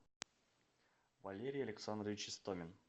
валерий александрович истомин